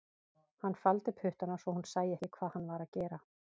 Hann faldi puttana svo hún sæi ekki hvað hann var að gera